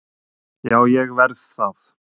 Já, ég verð það